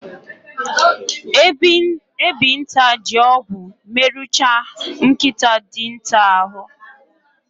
Ebinta ji ogwu meruchaa nkịta dinta ahụ.